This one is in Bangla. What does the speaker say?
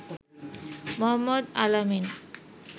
মোহাম্মদ আল-আমিন